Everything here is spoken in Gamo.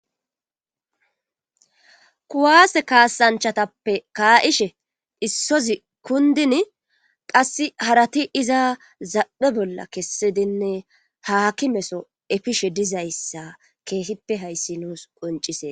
kuwaase kaasanchatappe kaa7ishe issozi kundin qass harati iza zaphe bolla kessidinne haaki meso efishe dizayssa keesippe hayssi nuus qoncise